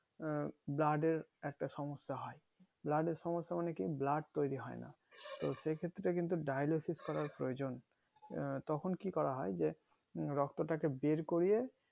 আহ blood এর একটা সমস্যা হয় blood এর সমস্যা মানে কি blood তৈরী হয়না তো সেই ক্ষেত্রে কিন্তু dialysis করার প্রয়োজন আহ তখন কি করা হয় যে আহ রক্ত তাকে বের করিয়ে